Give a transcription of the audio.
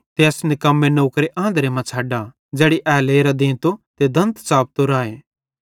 ते एस निकम्मे नौकरे आंधरे मां छ़ड्डा ज़ैड़ी ए लेरां देंतो ते दंत च़ापतो राए